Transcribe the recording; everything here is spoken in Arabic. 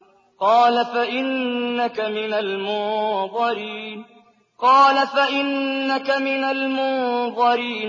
قَالَ فَإِنَّكَ مِنَ الْمُنظَرِينَ